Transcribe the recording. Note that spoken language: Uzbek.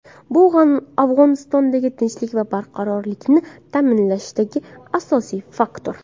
Bu Afg‘onistondagi tinchlik va barqarorlikni ta’minlashdagi asosiy faktor.